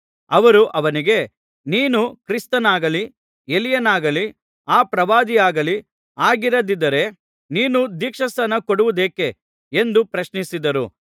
ಅವರು ಅವನಿಗೆ ನೀನು ಕ್ರಿಸ್ತನಾಗಲಿ ಎಲೀಯನಾಗಲಿ ಆ ಪ್ರವಾದಿಯಾಗಲಿ ಆಗಿರದಿದ್ದರೆ ನೀನು ದೀಕ್ಷಾಸ್ನಾನ ಕೊಡುವುದೇಕೆ ಎಂದು ಪ್ರಶ್ನಿಸಿದರು